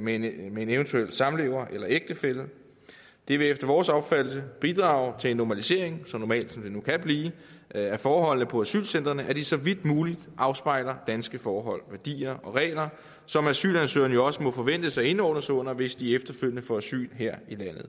med en eventuel samlever eller ægtefælle det vil efter vores opfattelse bidrage til en normalisering så normalt som det nu kan blive af forholdene på asylcentrene at de så vidt muligt afspejler danske forhold værdier og regler som asylansøgerne jo også må forventes at indordne sig under hvis de efterfølgende får asyl her i landet